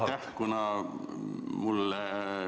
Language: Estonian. Aitäh!